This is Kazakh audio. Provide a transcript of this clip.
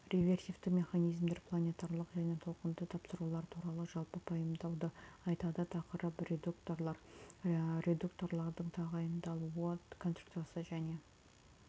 реверсивті механизмдер планетарлық және толқынды тапсырулар туралы жалпы пайымдауды айтады тақырып редукторлар редукторлардың тағайындалуы конструкциясы және